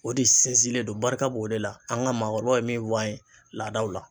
O de sinsinlen don barika b'o de la an ka maakɔrɔw ye min fɔ an ye laadaw la